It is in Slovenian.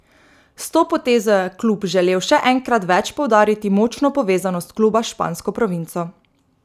S to potezo je klub želel še enkrat več poudariti močno povezanost kluba s špansko provinco.